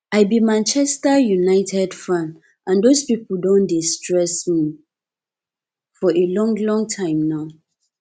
i be manchester united fan and those people don dey stress me for a long long time now